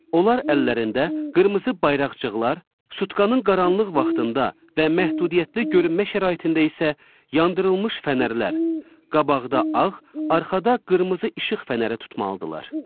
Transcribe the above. Onlar əllərində qırmızı bayraqcıqlar, sutkanın qaranlıq vaxtında və məhdudiyyətli görünmə şəraitində isə yandırılmış fənərlər, qabaqda ağ, arxada qırmızı işıq fənərə tutmalıdırlar.